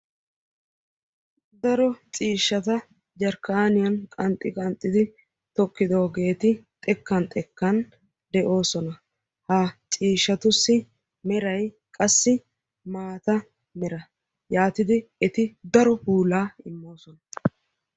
Daro ciishshata jarkkaniyaan qanxxi qanxxidi tokkidoogeeri xekkan xekkan de'oosona. Ha ciishshatussi meray qassi maata mera yaatidi eti daro puulaa immoosona.